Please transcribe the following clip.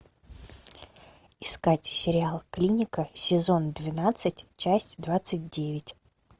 искать сериал клиника сезон двенадцать часть двадцать девять